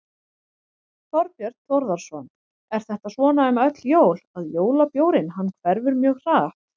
Þorbjörn Þórðarson: Er þetta svona um öll jól að jólabjórinn hann hverfur mjög hratt?